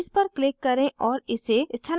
इस पर click करें और इसे स्थानांतरित करें